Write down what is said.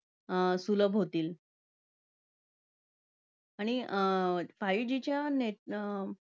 सुलभ होतील. आणि five G च्या